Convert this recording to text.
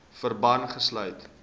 verband gesluit